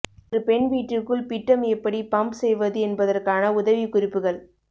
ஒரு பெண் வீட்டிற்குள் பிட்டம் எப்படி பம்ப் செய்வது என்பதற்கான உதவிக்குறிப்புகள்